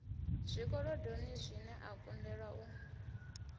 zwikolodoni zwine a kundelwa u